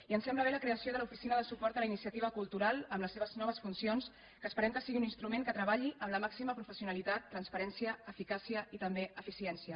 i ens sembla bé la creació de l’oficina de suport a la iniciativa cultural amb les seves noves funcions que esperem que sigui un instrument que treballi amb la màxima professionalitat transparència eficàcia i també eficiència